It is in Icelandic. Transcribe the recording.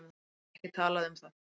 Ég get ekki talað um það.